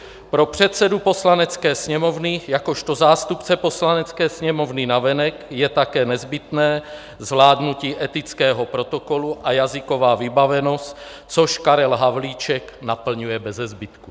Pro předsedu Poslanecké sněmovny jakožto zástupci Poslanecké sněmovny navenek je také nezbytné zvládnutí etického protokolu a jazyková vybavenost, což Karel Havlíček naplňuje beze zbytku.